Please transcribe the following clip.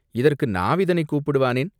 "இதற்கு நாவிதனைக் கூப்பிடுவானேன்?